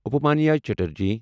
Upamanyu Chatterjee